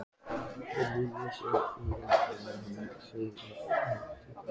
Óljóst heyrði ég að hann sagðist heita Viðar.